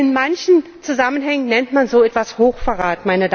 Und in manchen Zusammenhängen nennt man so etwas Hochverrat.